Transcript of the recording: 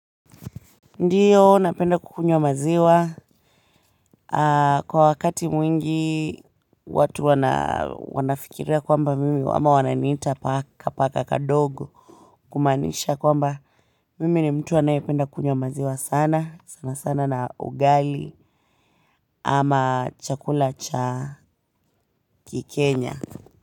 Ndiyo napenda kukunywa maziwa kwa wakati mwingi watu wanafikiria kwamba mimi ama wananiita paka kadogo kumanisha kwamba mimi ni mtu anayependa kunywa maziwa sana sanasana na ugali ama chakula cha kikenya.